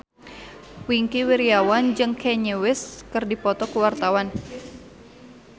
Wingky Wiryawan jeung Kanye West keur dipoto ku wartawan